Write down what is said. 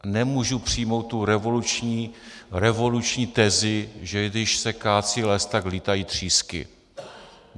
Nemůžu přijmout tu revoluční tezi, že když se kácí les, tak lítají třísky.